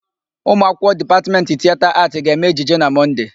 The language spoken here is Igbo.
Ụmụakwụkwọ Dipatmetị Tieta Aatị ga-eme ejije na Mọnde.